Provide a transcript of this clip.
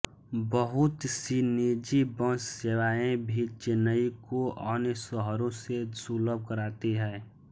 बहुत सी निजी बस सेवाएं भी चेन्नई को अन्य शहरों से सुलभ कराती हैं